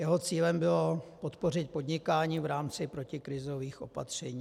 Jeho cílem bylo podpořit podnikání v rámci protikrizových opatření.